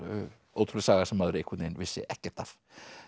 ótrúleg saga sem maður einhvern veginn vissi ekkert af